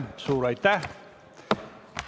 Suur aitäh!